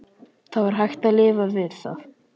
Það var hægt að lifa við það.